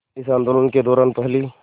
इस आंदोलन के दौरान पहली